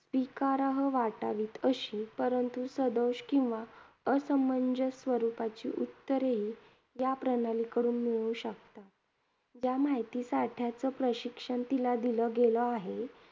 स्वीकारहार्य वाटावीत, परंतु सदोष किंवा असमंजस स्वरुपाची उत्तरे या प्रणालीकडून मिळू शकतात. त्या माहिती साठ्याचं प्रशिक्षण तिला दिलं गेलं आहे.